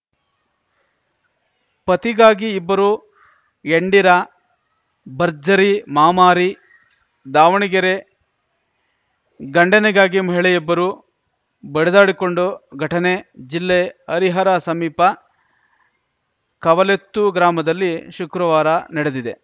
ಪತಿಗಾಗಿ ಇಬ್ಬರು ಎಂಡಿರ ಭರ್ಜರಿ ಮಾಮಾರಿ ದಾವಣಗೆರೆ ಗಂಡನಿಗಾಗಿ ಮಹಿಳೆಯೊಬ್ಬರು ಬಡಿದಾಡಿಕೊಂಡು ಘಟನೆ ಜಿಲ್ಲೆ ಹರಿಹರ ಸಮೀಪ ಕವಲೆತ್ತು ಗ್ರಾಮದಲ್ಲಿ ಶುಕ್ರವಾರ ನಡೆದಿದೆ